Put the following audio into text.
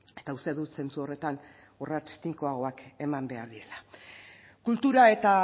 eta uste dut zentzu horretan urrats tinkoagoak eman behar direla kultura eta